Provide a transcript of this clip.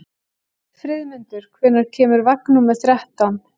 Friðmundur, hvenær kemur vagn númer þrettán?